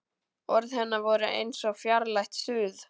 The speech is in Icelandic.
Orð hennar voru eins og fjarlægt suð.